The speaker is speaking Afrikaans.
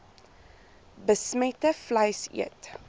besmette vleis eet